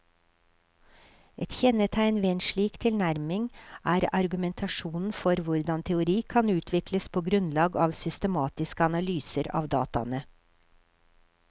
Et kjennetegn ved en slik tilnærming er argumentasjonen for hvordan teori kan utvikles på grunnlag av systematiske analyser av dataene.